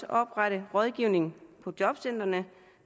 oprette rådgivning på jobcentrene